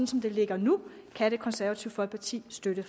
som det ligger nu kan det konservative folkeparti støtte